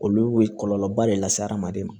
Olu bɛ kɔlɔlɔba de lase hadamaden ma